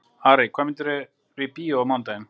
Arey, hvaða myndir eru í bíó á mánudaginn?